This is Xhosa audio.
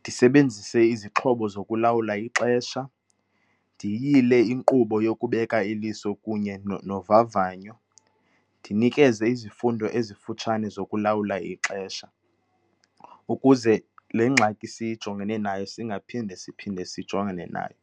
ndisebenzise izixhobo zokulawula ixesha, ndiyile inkqubo yokubeka iliso kunye novavanyo, ndinikeze izifundo ezifutshane zokulawula ixesha, ukuze le ngxaki sijongene nayo singaphinde siphinde sijongane nayo